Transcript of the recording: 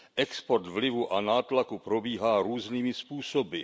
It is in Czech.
Export vlivu a nátlaku probíhá různými způsoby.